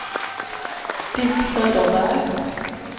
Dick Söderberg